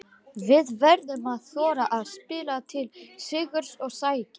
Við verðum að þora að spila til sigurs og sækja.